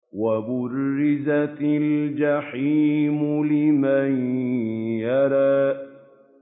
وَبُرِّزَتِ الْجَحِيمُ لِمَن يَرَىٰ